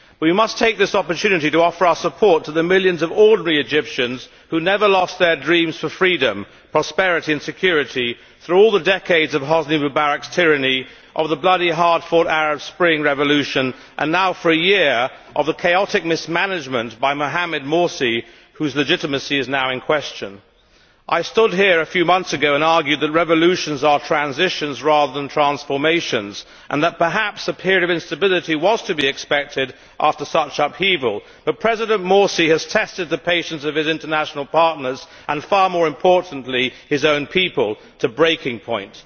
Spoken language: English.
We must take this opportunity to offer our support to the millions of ordinary Egyptians who never lost their dreams for freedom, prosperity and security through all the decades of Hosni Mubarak's tyranny, of the bloody, hard fought Arab Spring revolution and now, for a year, of the chaotic mismanagement by Mohamed Morsi, whose legitimacy is now in question. I stood here a few months ago and argued that revolutions are transitions rather than transformations and that perhaps a period of instability was to be expected after such upheaval, but President Morsi has tested the patience of his international partners and, far more importantly, his own people, to breaking point.